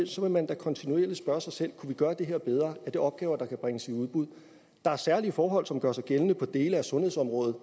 så vil man da kontinuerlig spørge sig selv kunne vi gøre det her bedre er det opgaver der kunne bringes i udbud der er særlige forhold som gør sig gældende på dele af sundhedsområdet